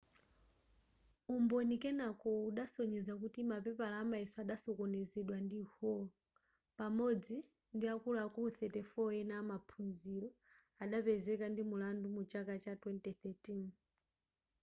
umboni kenako udasonyeza kuti mapepala amayeso adasokonezedwa ndi hall pamodzi ndiakuluakulu 34 ena amaphunziro adapezeka ndi mulandu mu chaka cha 2013